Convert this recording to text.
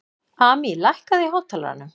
Amý, lækkaðu í hátalaranum.